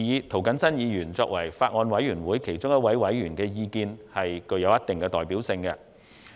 涂謹申議員作為法案委員會其中一位委員，其意見具有一定代表性。